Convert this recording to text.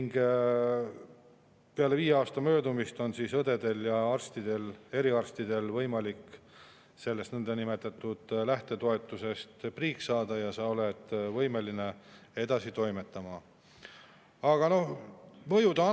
Peale viie aasta möödumist on õdedel ja eriarstidel võimalik sellest niinimetatud lähtetoetusest priiks saada, olles võimeline edasi toimetama.